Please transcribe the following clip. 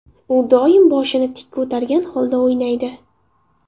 U doim boshini tik ko‘targan holda o‘ynaydi.